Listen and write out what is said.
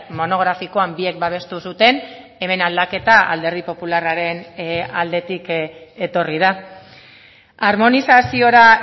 monografikoan biek babestu zuten hemen aldaketa alderdi popularraren aldetik etorri da armonizaziora